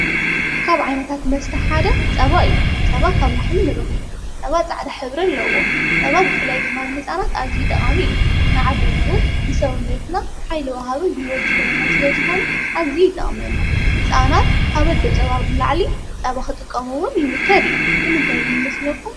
ካብ ዓይነታት መስተሓደ ፀባ እዩ፡፡ ፀባ ካብ ላሕሚ ንረኽቦ፡፡ ጸባ ፃዕዳ ሕብሪ ኣለዎ፡፡ ጸባ ብፍላይ ድማ ንህፃናት ኣዚዩ ጠቓሚ እዩ፡፡ ንዓበይቲ ውን ንሰውነትና ሓይሊ ወሃቢ ግልቦት ዝህበናን ስለ ዝኾነ ኣዚዩ ይጠቕመና፡፡ ህፃናት ካብ ኦዶ ጸባ ላዕሊ ጸባ ኽጥቐም ውን ይምከር እዩ፡፡ ንምንታይ ግን ይመስለኩ?